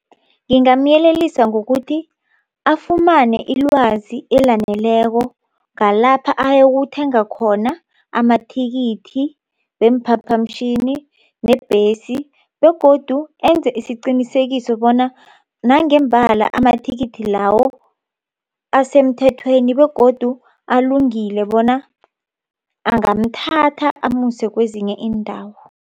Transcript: Ngingamyelelisa ngokuthi afumane ilwazi elaneleko ngalapha ayokuthenga khona amathikithi weemphaphamtjhini nebhesi begodu enze isiqinisekiso bona nangembala amathikithi lawo asemthethweni begodu alungile bona angamthatha amuse kwezinye iindawo.